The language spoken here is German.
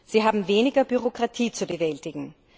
Sie haben weniger Bürokratie zu bewältigen.